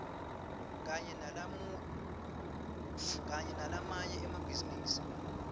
kanye nalamanye emabhizinisi